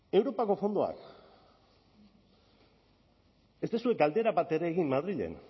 europako fondoak ez duzue galdera bat ere egin madrilen